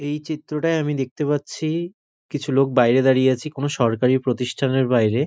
এই চিত্রটায় আমি দেখতে পাচ্ছি কিছু লোক বাইরে দাঁড়িয়ে আছি কোন সরকারি প্রতিষ্ঠানের বাইরে।